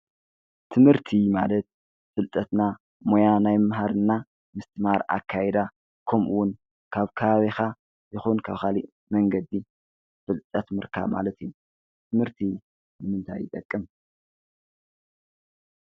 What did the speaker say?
ትምህርቲ ማለት ፍልጠትና ሞያ ናይ ምምሃርና ምስትማር ኣካይዳ ከምኡውን ካብ ከባቢኻ የኹን ካብ ኻሊእ መንገዲ ፍልጠት ምርካብ ማለት እዩ፡፡ ትምህርቲ ንምንታይ ይጠቅም?